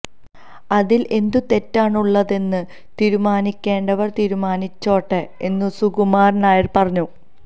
അതിൽ എന്തു തെറ്റാണ് ഉള്ളതെന്ന് തീരുമാനിക്കേണ്ടവർ തീരുമാനിച്ചോട്ടെ എന്നും സുകുമാരൻ നായർ പറഞ്ഞു